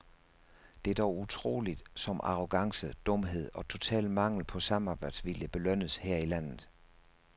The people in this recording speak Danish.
Det er dog utroligt, som arrogance, dumhed og total mangel på samarbejdsvilje belønnes her i landet.